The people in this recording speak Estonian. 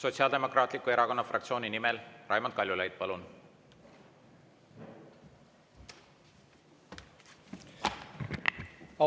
Sotsiaaldemokraatliku Erakonna fraktsiooni nimel Raimond Kaljulaid, palun!